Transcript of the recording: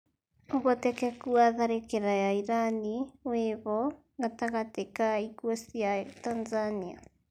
ũhotekeku wa tharĩkĩra ya irani wĩho gatagatĩ ka ikuũ cia tanzania